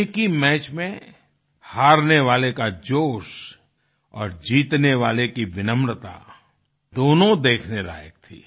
एक ही मैच में हारने वाले का जोश और जीतने वाले की विनम्रता दोनों देखने लायक थी